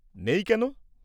-নেই কেন?